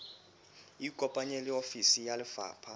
ikopanye le ofisi ya lefapha